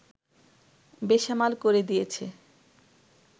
বেসামাল করে দিয়েছে